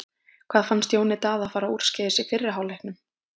Hvað fannst Jóni Daða fara úrskeiðis í fyrri hálfleiknum?